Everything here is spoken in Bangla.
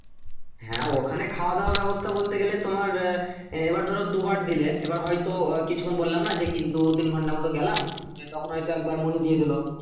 হ্যাঁ ওখানে খাওয়া দাওয়ার ব্যবস্থা বলতে গেলে তোমার এবার ধরো দু বার দিলে এবার হয়তো আহ কিছুক্ষন বললাম না যে কি দু তিন ঘন্টা মতন গেলাম হ্যাঁ তখন হয়তো একবার মুহি দিয়ে দিলো